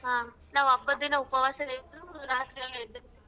ಹಾ ನಾವ್ ಹಬ್ಬದ್ ದಿನ ಉಪವಾಸನೆ ಇದ್ದು ರಾತ್ರೆಲ್ಲಾ ಎದ್ದಿರ್ತಿವಿ.